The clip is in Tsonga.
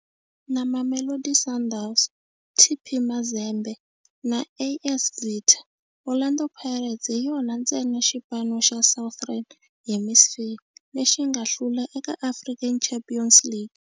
Na Mamelodi Sundowns, TP Mazembe na AS Vita, Orlando Pirates hi yona ntsena xipano xa Southern Hemisphere lexi nga hlula eka African Champions League.